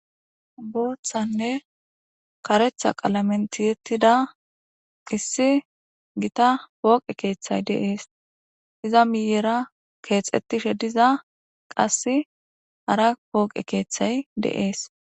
Boththanne kareththa qalamek tiyetida issi gita pooqe keeththay dees. iza miyera keexetishe diza qase hara pooqe keethay de'ees.